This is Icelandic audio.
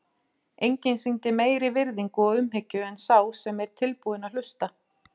Enginn sýnir meiri virðingu og umhyggju en sá sem er tilbúinn að hlusta.